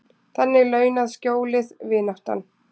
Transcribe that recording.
Þannig launað skjólið, vináttan.